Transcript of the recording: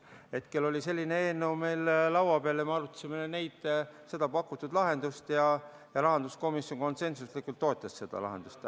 Hetkel oli selline eelnõu meil laua peal ja me arutasime seda pakutud lahendust ja rahanduskomisjon konsensuslikult toetas seda lahendust.